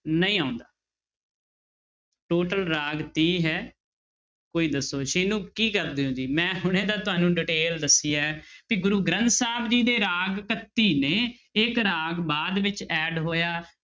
ਨਹੀਂ ਆਉਂਦਾ total ਰਾਗ ਤੀਹ ਹੈ ਕੋਈ ਦੱਸੋ ਸੀਨੂੰ ਕੀ ਕਰਦੇ ਹੋ ਜੀ, ਮੈਂ ਹੁਣੇ ਤਾਂ ਤੁਹਾਨੂੰ detail ਦੱਸੀ ਹੈ ਵੀ ਗੁਰੂ ਗ੍ਰੰਥ ਸਾਹਿਬ ਜੀ ਦੇ ਰਾਗ ਇਕੱਤੀ ਨੇ ਇੱਕ ਰਾਗ ਬਾਅਦ ਵਿੱਚ add ਹੋਇਆ।